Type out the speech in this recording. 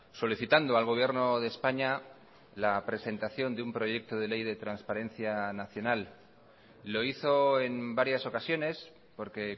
solicitando al gobierno de españa la presentación de un proyecto de ley de transparencia nacional lo hizo en varias ocasiones porque